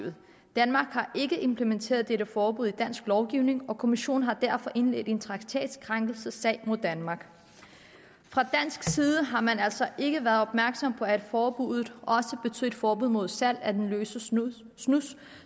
danmark har ikke implementeret dette forbud i dansk lovgivning og kommissionen har derfor indledt en traktatkrænkelsessag mod danmark fra dansk side har man altså ikke været opmærksom på at forbuddet også betød et forbud mod salg af den løse snus snus